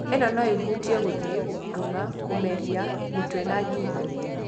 Ĩno no ĩhutĩe gũthie, gũkuruma, kũmeria, mũtwe na gingo.